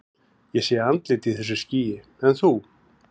Ég sé andlit í þessu skýi, en þú?